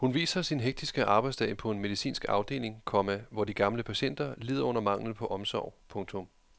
Hun viser sin hektiske arbejdsdag på en medicinsk afdeling, komma hvor de gamle patienter lider under manglen på omsorg. punktum